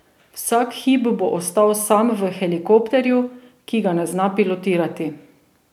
Vsak hip bo ostal sam v helikopterju, ki ga ne zna pilotirati.